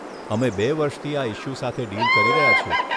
અમે બે વર્ષથી આ ઇશ્યૂ સાથે ડીલ કરી રહ્યા છીએ.